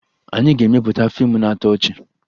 Anyị ga-emepụta fiimu na-atọ ọchị